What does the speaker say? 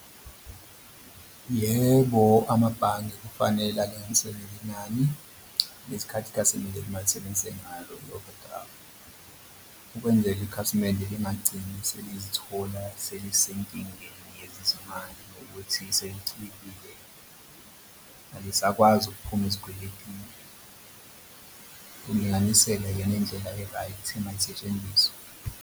Yebo, amabhange kufanele alinganiselele inani lesikhathi i-overdraft ukwenzele ikhasimende lingagcini selizithola selisenkingeni yezezimali ngokuthi selicwilile, alisakwazi ukuphuma ezikweletini. Ukulinganisela akuyona indlela e-right engasetshenziswa.